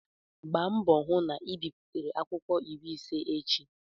Gbaa mbọ hụ na ị biputere akwụkwọ iri ise echi!